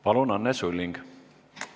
Palun, Anne Sulling!